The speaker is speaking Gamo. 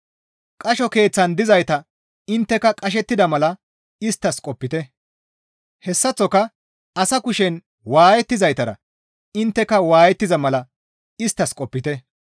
Qasho keeththan dizaytara intteka qashettida mala isttas qopite; hessaththoka asa kushen waayettizaytara intteka waayettiza mala isttas qopite.